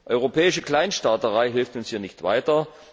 Europäische Kleinstaaterei hilft uns hier nicht weiter.